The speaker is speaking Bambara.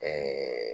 Ɛɛ